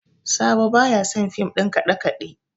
Sabo ba ya son fim ɗin kaɗe-kaɗe